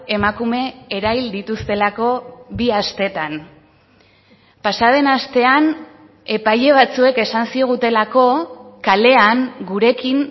emakume erahil dituztelako bi astetan pasaden astean epaile batzuek esan zigutelako kalean gurekin